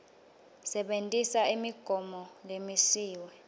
sebentisa imigomo lemisiwe